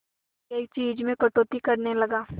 एक एक चीज में कटौती करने लगा